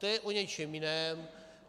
To je o něčem jiném.